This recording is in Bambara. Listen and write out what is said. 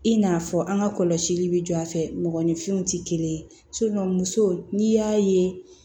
I n'a fɔ an ka kɔlɔsili bi jɔ a fɛ mɔgɔninfinw tɛ kelen ye muso n'i y'a ye